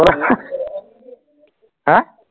হা